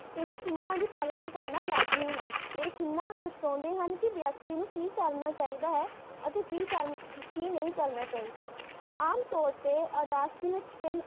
ਇਹਨਾਂ ਚਿਹਨਾਂ ਦੀ ਪਾਲਣਾ ਕਰਨਾ ਲਾਜ਼ਮੀ ਹੈ। ਇਹ ਚਿਹਨਾਂ ਦਰਸ਼ੋਨਦੇ ਹਨ ਕਿ ਵਿਅਕਤੀ ਨੂੰ ਕਿ ਕਰਨਾ ਚਾਹਿਦਾ ਹੈ ਅਤੇ ਕਿ ਨਹੀਂ ਕਰਨਾ ਚਾਹਿਦਾ। ਆਮਤੌਰ ਤੇ ਆਦਾਸ਼ਮਿਕ ਚੀਨ